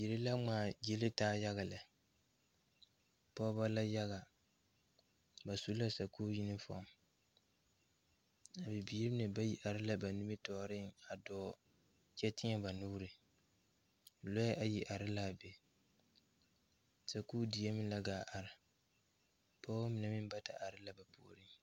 Biire la ngmaa gyilitaa yaga lɛ pɔɔbɔ la yaga ba su la sakuure kpare a bibiire mine bayi are la ba nimitooreŋ a dɔɔ kyɛ teɛ ba nuure lɔɛ ayi are laa be sakuure die meŋ la gaa are pɔɔbɔ mine meŋ bata are la ba puoriŋ.